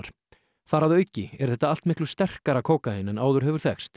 þar að auki er þetta allt miklu sterkara kókaín en áður hefur þekkst